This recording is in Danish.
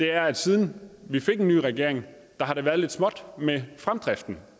er at siden vi fik en ny regering har det været lidt småt med fremdriften